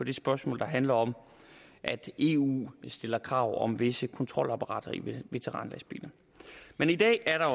det spørgsmål der handler om at eu stiller krav om visse kontrolapparater i veteranlastbiler men i dag er der